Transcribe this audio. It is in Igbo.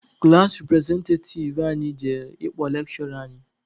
Klaasị repụrezentativ anyị jere ịkpọ lekshụra anyị.